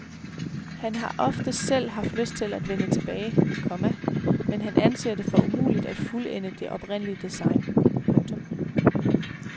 Han har ofte selv haft lyst til at vende tilbage, komma men han anser det for umuligt at fuldende det oprindelige design. punktum